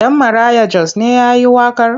Ɗan Maraya Jos ne ya yi waƙar?